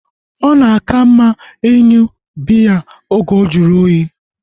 Ọ na aka mma ịṅụ biya oge ojuru oyi